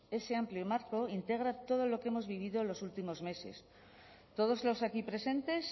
ese amplio marco integra todo lo que hemos vivido en los últimos meses todos los aquí presentes